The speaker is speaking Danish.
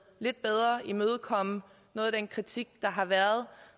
lidt bedre imødekomme noget af den kritik der har været